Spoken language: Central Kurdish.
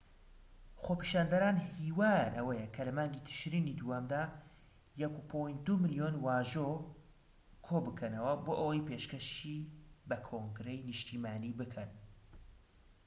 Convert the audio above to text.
خۆپیشاندەران هیوایان ئەوەیە کە لە مانگی تشرینی دووەمدا 1.2 ملیۆن واژۆ کۆبکەنەوە بۆ ئەوەی پێشکەشی بە کۆنگرەی نیشتیمانی بکەن‎